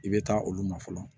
I bɛ taa olu ma fɔlɔ